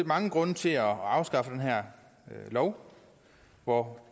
mange grunde til at afskaffe den her lov og